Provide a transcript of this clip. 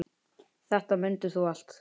Þetta mundir þú allt.